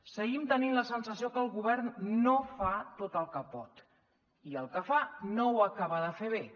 seguim tenint la sensació que el govern no fa tot el que pot i el que fa no ho acaba de fer bé